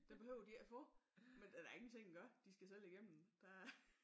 Det behøver de ikke at få men der da ingen ting at gøre de skal selv igennem der er